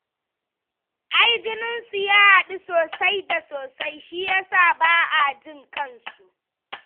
Ai jininsu ya haɗu sosai da sosai shi ya sa ba a jin kansu